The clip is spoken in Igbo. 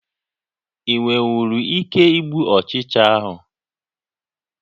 Ị nwenwuru ike gbuo ụchịcha ahụ?